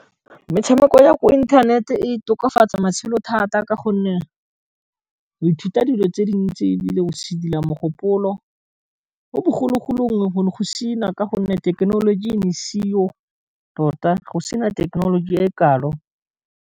Metshameko ya ko internet-e, e tokafatsa matshelo thata ka gonne go ithuta dilo tse dintsi e bile o sedila mogopolo, mo bogologolong go ne go sena ka gonne thekenoloji e ne e se yo tota, go sena thekenoloji e kalo.